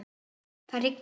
Það rignir.